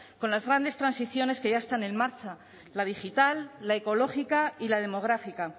con las grandes transiciones que ya están en marcha la digital la ecológica y la demográfica